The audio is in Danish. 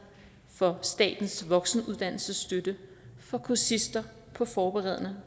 for statens voksenuddannelsesstøtte for kursister på forberedende